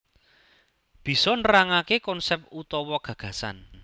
Bisa nerangake konsep utawa gagasan